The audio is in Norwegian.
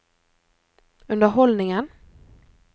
underholdningen